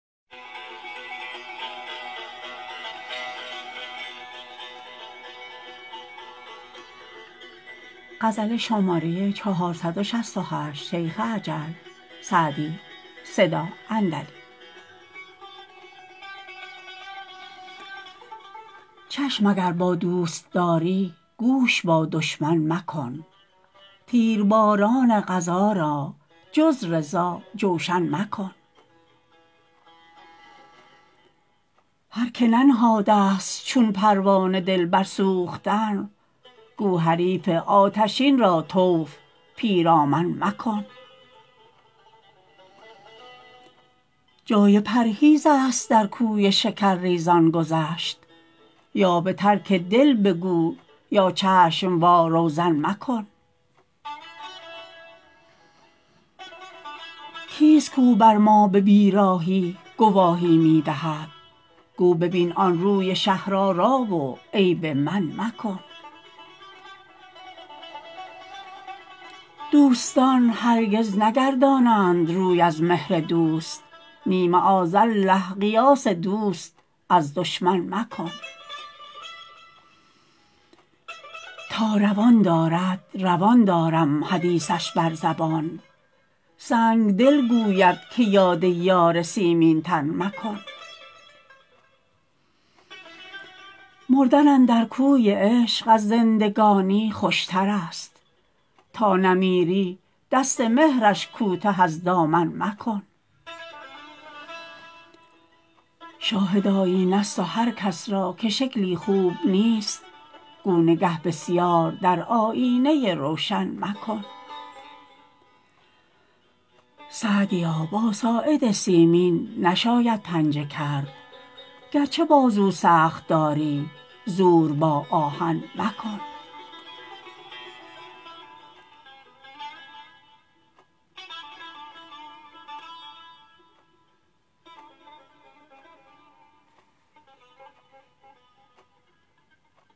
چشم اگر با دوست داری گوش با دشمن مکن تیرباران قضا را جز رضا جوشن مکن هر که ننهاده ست چون پروانه دل بر سوختن گو حریف آتشین را طوف پیرامن مکن جای پرهیز است در کوی شکرریزان گذشت یا به ترک دل بگو یا چشم وا روزن مکن کیست کاو بر ما به بیراهی گواهی می دهد گو ببین آن روی شهرآرا و عیب من مکن دوستان هرگز نگردانند روی از مهر دوست نی معاذالله قیاس دوست از دشمن مکن تا روان دارد روان دارم حدیثش بر زبان سنگدل گوید که یاد یار سیمین تن مکن مردن اندر کوی عشق از زندگانی خوشتر است تا نمیری دست مهرش کوته از دامن مکن شاهد آیینه ست و هر کس را که شکلی خوب نیست گو نگه بسیار در آیینه روشن مکن سعدیا با ساعد سیمین نشاید پنجه کرد گرچه بازو سخت داری زور با آهن مکن